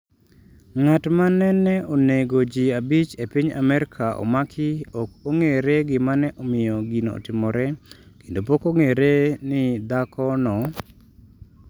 Ng’at ma nene onego ji abich e piny Amerka omaki ok ong’ere gima ne omiyo gino otimore kendo pok ong’ere ni dhako no.